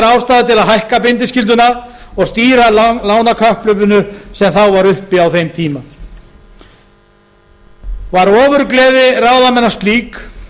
að hækka bindiskylduna og stýra lánakapphlaupinu sem þá var uppi á þeim tíma var ofurgleði ráðamanna slík